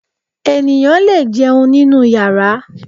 Ènìyàn lè jẹun nínú yàrá